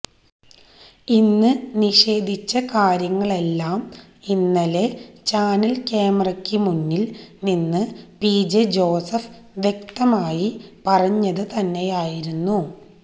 ഇന്ന് നിഷേധിച്ച കാര്യങ്ങളെല്ലാം ഇന്നലെ ചാനല് ക്യാമറയ്ക്ക് മുന്നില് നിന്ന് പി ജെ ജോസഫ് വ്യക്തമായി പറഞ്ഞത് തന്നെയായിരുന്നു